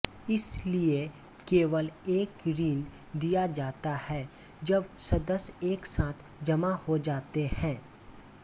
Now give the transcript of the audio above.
इसलिए केवल एक ऋण दिया जाता है जब सदस्य एक साथ जमा हो जाते हैं